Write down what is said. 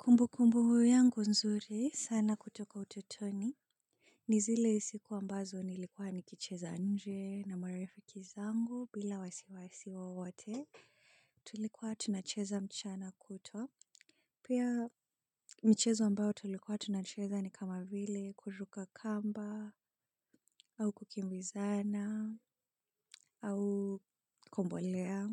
Kumbu kumbu yangu nzuri sana kutoka utotoni. Nizile sikua mbazo nilikuwa nikicheza nje na marifiki zangu bila wasiwasi wo wote. Tulikuwa tunacheza mchana kutwa. Pia michezo ambayo tulikuwa tunacheza ni kama vile kuruka kamba au kukimbizana au kombolea.